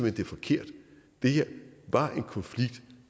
at det er forkert det her var en konflikt